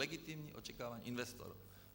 Legitimních očekávání investorů.